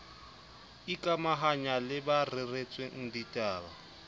ikamahanya le ba reretsweng ditaba